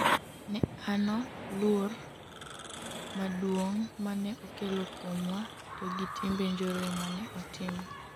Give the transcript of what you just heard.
neano luor maduong' mane okelo kuomwa to gi timbe njore mane otimo